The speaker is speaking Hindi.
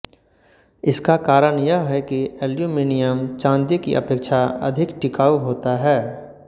इसका कारण यह है कि एल्यूमिनियम चाँदी की अपेक्षा अधिक टिकाऊ होता है